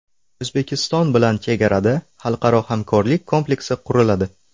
O‘zbekiston bilan chegarada xalqaro hamkorlik kompleksi quriladi.